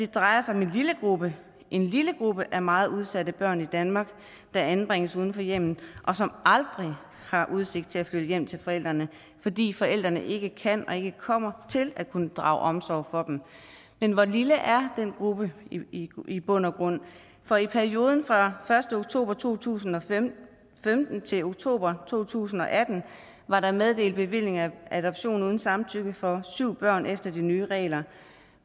drejer sig om en lille gruppe en lille gruppe af meget udsatte børn i danmark der anbringes uden for hjemmet og som aldrig har udsigt til at flytte hjem til forældrene fordi forældrene ikke kan og ikke kommer til at kunne drage omsorg for dem men hvor lille er den gruppe i bund og grund for i perioden fra første oktober to tusind og femten til oktober to tusind og atten var der meddelt bevillinger af adoption uden samtykke for syv børn efter de nye regler